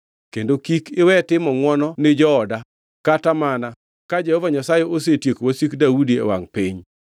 kendo kik iwe timo ngʼwono ni jooda kata mana ka Jehova Nyasaye osetieko wasik Daudi e wangʼ piny.”